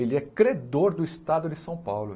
Ele é credor do Estado de São Paulo.